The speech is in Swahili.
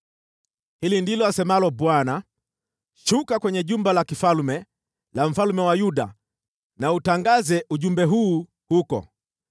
Hili ndilo asemalo Bwana : “Shuka kwenye jumba la kifalme la mfalme wa Yuda, utangaze ujumbe huu huko: